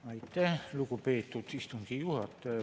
Aitäh, lugupeetud istungi juhataja!